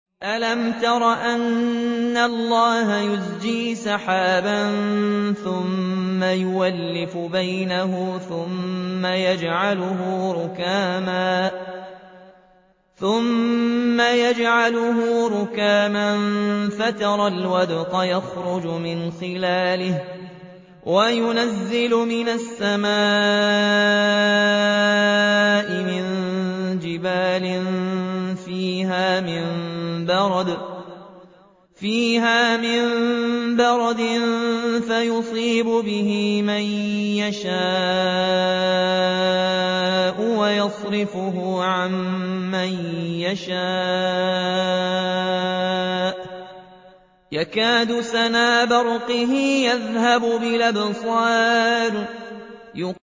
أَلَمْ تَرَ أَنَّ اللَّهَ يُزْجِي سَحَابًا ثُمَّ يُؤَلِّفُ بَيْنَهُ ثُمَّ يَجْعَلُهُ رُكَامًا فَتَرَى الْوَدْقَ يَخْرُجُ مِنْ خِلَالِهِ وَيُنَزِّلُ مِنَ السَّمَاءِ مِن جِبَالٍ فِيهَا مِن بَرَدٍ فَيُصِيبُ بِهِ مَن يَشَاءُ وَيَصْرِفُهُ عَن مَّن يَشَاءُ ۖ يَكَادُ سَنَا بَرْقِهِ يَذْهَبُ بِالْأَبْصَارِ